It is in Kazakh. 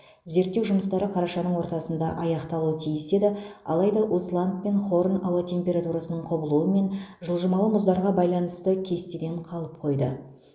зерттеу жұмыстары қарашаның ортасында аяқталуы тиіс еді алайда усланд пен хорн ауа температурасының құбылуы мен жылжымалы мұздарға байланысты кестеден қалып қойды